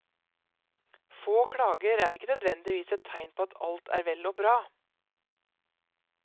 Få klager er ikke nødvendigvis et tegn på at alt er vel og bra.